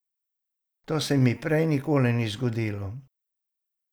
To se mi prej nikoli ni zgodilo.